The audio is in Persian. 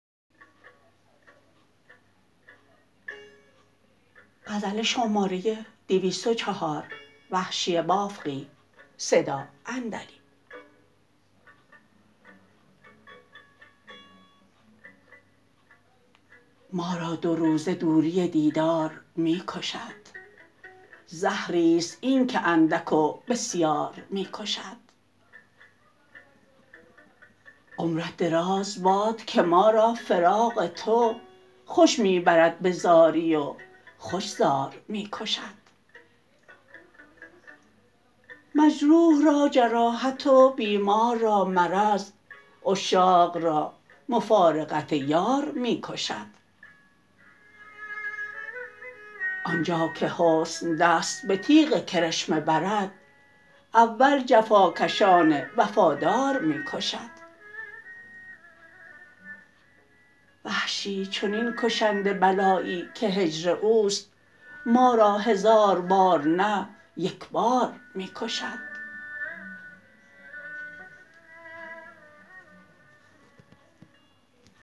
ما را دو روزه دوری دیدار می کشد زهریست این که اندک و بسیار می کشد عمرت دراز باد که ما را فراق تو خوش می برد به زاری و خوش زار می کشد مجروح را جراحت و بیمار را مرض عشاق را مفارقت یار می کشد آنجا که حسن دست به تیغ کرشمه برد اول جفا کشان وفادار می کشد وحشی چنین کشنده بلایی که هجر اوست ما را هزار بار نه یک بار می کشد